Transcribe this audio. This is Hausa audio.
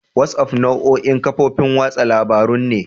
WhatsApp nau'in kafofin watsa labarun ne.